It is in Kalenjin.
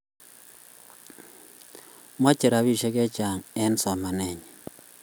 meche rubishek chechang eng somanenyin